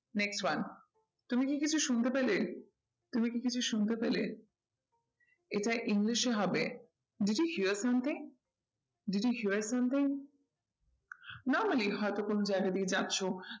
Next one তুমি কি কিছু শুনতে পেলে? তুমি কি কিছু শুনতে পেলে? এটাই english এ হবে did you hear something, did you hear something? normally হয় তো কোনো জায়গা দিয়ে যাচ্ছো